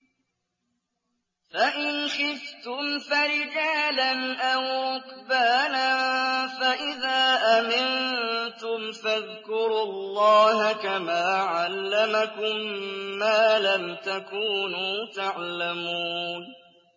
فَإِنْ خِفْتُمْ فَرِجَالًا أَوْ رُكْبَانًا ۖ فَإِذَا أَمِنتُمْ فَاذْكُرُوا اللَّهَ كَمَا عَلَّمَكُم مَّا لَمْ تَكُونُوا تَعْلَمُونَ